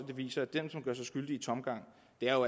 det viser at dem som gør sig skyldige i tomgang